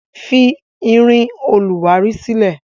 Fi irin olùwárí sílẹ̀!